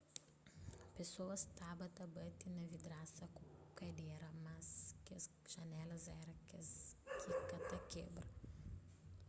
pesoas staba ta bati na vidrasa ku kadera mas kes janelas éra kes kika ta kebra